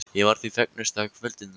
Ég var því fegnust þegar kvöldinu lauk.